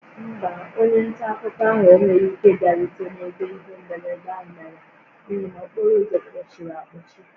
Mba, onye nta akụkọ ahụ enweghị ike ịbịarute n'ebe ihe mberede ahụ mere n'ihi na okporo ụzọ kpochiri akpochi